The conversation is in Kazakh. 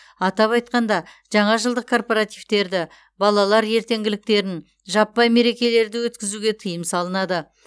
атап айтқанда жаңа жылдық корпоративтерді балалар ертеңгіліктерін жаппай мерекелерді өткізуге тыйым салынады